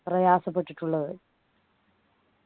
പ്രയാസപ്പെട്ടിട്ടുള്ളത്